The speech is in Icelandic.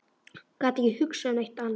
Gat ekki hugsað um neitt annað.